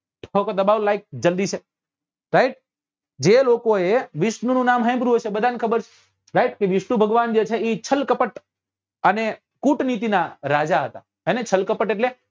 તો દબાવો like જલ્દી સે right જે લોકો એ વિષ્ણુ નું નામ સાંભળ્યું હશે બધા ને ખબર હશે right કે વિષ્ણુ ભગવાન જે છે એ છલ કપટ અને કૂટ નીતિ નાં રાજા હતા હેને છલ કપટ એટલે